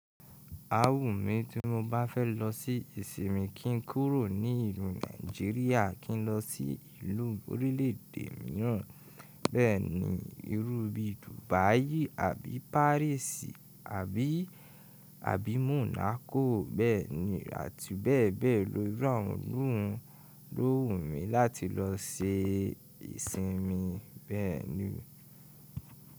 Aa wùmí tí mo bá fẹ́ lọ sí ìsinmin kí n kúrò ní ìlú Nàìjíríà, kí n lọ sí ìlú orílẹ̀ èdè mìíràn, bẹ́ẹ̀ni irú bí Dubai àbí Paris àbí, abí Monaco bẹ́ẹ̀ni àti bẹ́ẹ̀ bẹ́ẹ̀ lo irù awon ilu hun lo wú mí láti lọ ṣe ìsinmin bẹ́ẹ̀ni.